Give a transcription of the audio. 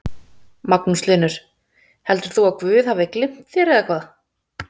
Magnús Hlynur: Heldur þú að guð hafi gleymt þér eða hvað?